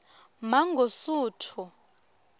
mangosuthu